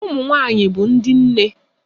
Ụmụ nwanyị bụ ndị nne